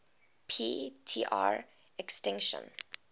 p tr extinction